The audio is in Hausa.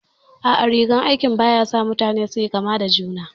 A'a, rigar aiki ba ya sa mutane su yi kama da juna